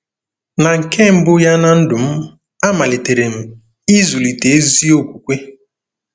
Na nke mbụ ya ná ndụ m, amalitere m ịzụlite ezi okwukwe.